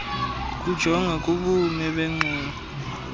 kujonga kubume bengxowa